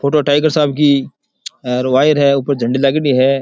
Photo tiger साहब की एर वायर है ऊपर झंडी लागेड़ी है।